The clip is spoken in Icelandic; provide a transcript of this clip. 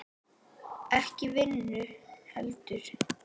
Ekki vinnu heldur.